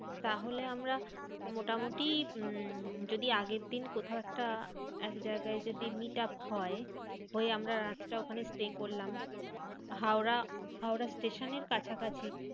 তাহলে আমরা মোটামুটি উম যদি আগের দিন কোথাও একটা একজায়গায় যদি meet up হয়, হয়ে রাতটা ওখানেই আমরা stay করলাম। হাওড়া হাওড়া স্টেশনের কাছাকাছি।